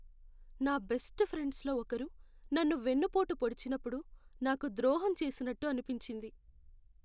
నా best friends లో ఒకరు నన్ను వెన్నుపోటు పొడిచినప్పుడు నాకు ద్రోహం చేసినట్టు అనిపించింది .